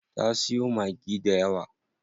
Ta siyo Maggi dayawa.